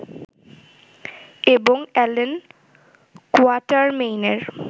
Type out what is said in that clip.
এবং অ্যালান কোয়াটারমেইনের